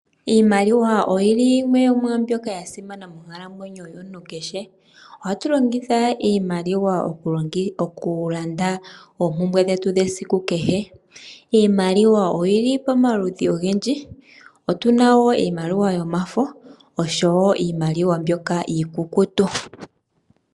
Iimaliwa oyili yimwe yo mwambwoka yasimana monkalamwenyo yomuntu keshe ,ohatu longitha iimaliwa okulanda ompumbwe dhetu dhesiku keshe. Iimaliwa oyili pamaludhi ogendji gaayoloka .Otuna iimaliwa iikukutu noshowo mbyoka yomafo.